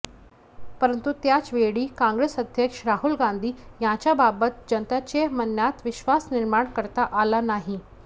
परंतु त्याच वेळी काँग्रेस अध्यक्ष राहुल गांधी यांच्याबाबत जनतेच्या मनात विश्वास निर्माण करता आला नाही